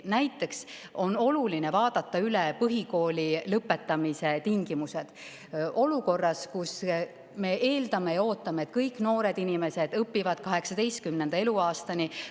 Näiteks on oluline vaadata üle põhikooli lõpetamise tingimused, kui me eeldame ja ootame, et kõik noored inimesed õpivad 18. eluaastani.